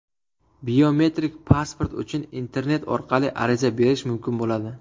Biometrik pasport uchun internet orqali ariza berish mumkin bo‘ladi.